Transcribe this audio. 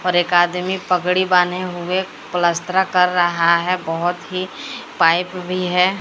और एक आदमी पगड़ी बान्हे हुए प्लसतरा कर रहा है बहुत ही पाइप भी है।